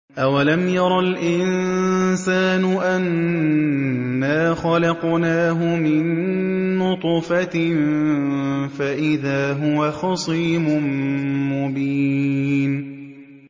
أَوَلَمْ يَرَ الْإِنسَانُ أَنَّا خَلَقْنَاهُ مِن نُّطْفَةٍ فَإِذَا هُوَ خَصِيمٌ مُّبِينٌ